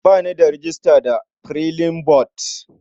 Ba ni da rejista da Flipboard.